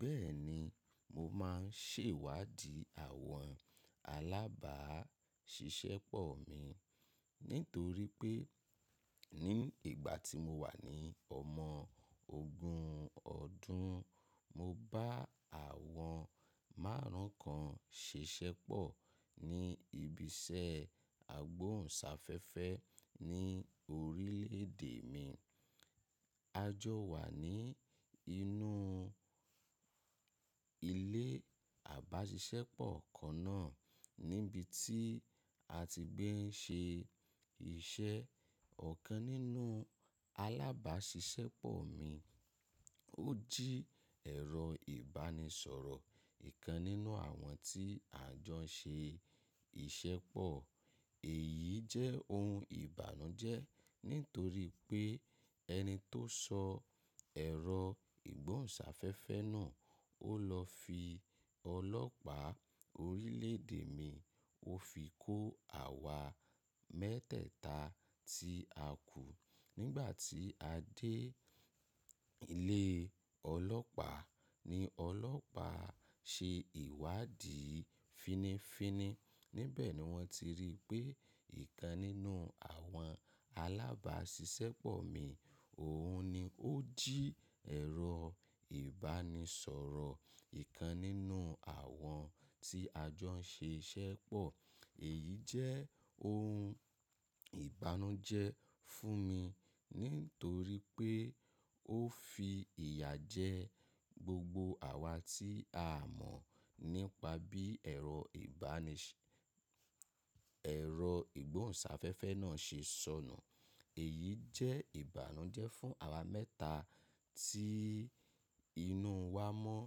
Bẹ́ẹ̀ni, mo máà ń ṣèwádìí àwọn alábàáṣiṣẹ́pọ̀ mi. Nítorí pé ní ìgbà tí mo wà ní ọmọ ogún ọdún, mo bá àwọn márùn ún kan ṣiṣẹ́ pọ̀ ní ibi iṣẹ́ àgbóhùnsáfẹ́fẹ́ ní orílẹ̀ èdè mi. A jọ wà ní inú ilé ábáṣiṣẹ́pọ̀ kan náà níbi tí a ti gbé ń ṣe iṣẹ́. Ọ̀kan nínú alábáṣiṣẹ́pọ̀ mi, ó jí ẹ̀rọ ìbánisọ̀rọ̀ ìkan nínú àwọn tí a jọ ń ṣe iṣẹ́pọ̀. Èyí jẹ́ ohun ìbànújẹ́ nítorí pé ẹni tó sọ ẹ̀rọ ìgbóhùnsáfẹ́fẹ́ náà, ó lọ fi ọlọ́pàá oríle ède mi, ó fi kó àwa mẹ́tẹ̀ẹ̀ta tí a kù. Nígbà tí a dé ilé ọlọ́pàá, ní ọlọ́pàá ṣe ìwádìí fínnífínní, níbẹ̀ ni wọ́n ti rí pé ìkan nínú àwọn alábáṣiṣẹ́pọ̀ mi, òun ni ó jí ẹ̀rọ ìbánisọ̀rọ̀ ìkan nínú àwọn tí a jọ ń ṣe iṣẹ́pọ̀. Èyí jẹ́ ohun ìbànújẹ́ fún mi nítorí pé ó fi ìyà jẹ gbogbo àwa tí a mọ̀ nípa bí ẹ̀rọ ibani, ìgbóhùnsáfẹ́fẹ́ náà ṣe sọnù. Èyí jẹ́ ìbànújẹ́ fún àwa mẹ́ta tí inú wa mọ́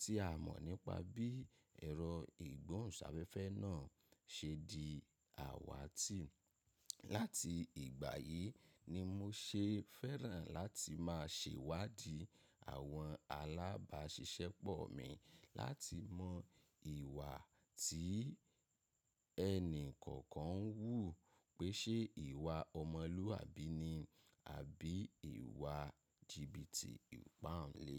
tí a mọ̀ nípa bí ẹ̀rọ ìgbóhùnsáfẹ́fẹ́ náà ṣe di àwàtì. Láti ìgbà yìí ni mo ṣe fẹ́ràn láti máa ṣèwádìí àwọn alábáṣiṣẹ́pọ̀ mi láti mọ ìwà tí ẹni kọ̀ọ̀kan ń wù. Pé ṣe ìwà ọmọlúwàbí ni, àbí ìwà jìbìtì ìpánle.